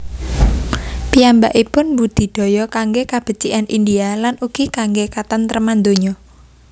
Piyambakipun mbudidaya kanggé kabecikan India lan ugi kanggé katentreman donya